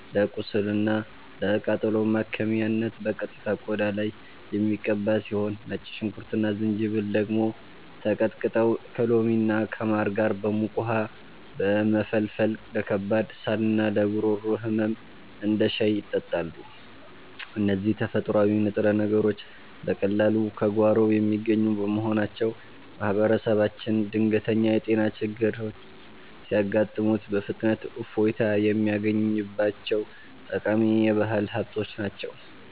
ለቁስልና ለቃጠሎ ማከሚያነት በቀጥታ ቆዳ ላይ የሚቀባ ሲሆን፣ ነጭ ሽንኩርትና ዝንጅብል ደግሞ ተቀጥቅጠው ከሎሚና ከማር ጋር በሙቅ ውሃ በመፈልፈል ለከባድ ሳልና ለጉሮሮ ህመም እንደ ሻይ ይጠጣሉ። እነዚህ ተፈጥሯዊ ንጥረ ነገሮች በቀላሉ ከጓሮ የሚገኙ በመሆናቸው፣ ማህበረሰባችን ድንገተኛ የጤና ችግሮች ሲያጋጥሙት በፍጥነት እፎይታ የሚያገኝባቸው ጠቃሚ የባህል ሀብቶች ናቸው።